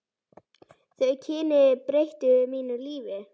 Þau kynni breyttu mínu lífi.